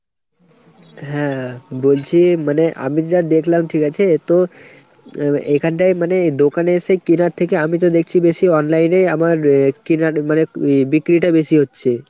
হ্যাঁ বলছি মানে আমি যা দেখলাম ঠিক আছে তো এ এখানটায় মানে দোকানে এসে কেনার থেকে আমিতো দেখছি বেশি অনলাইন এই আমার এ কেনার মানে বিক্রিটা বেশি হচ্ছে।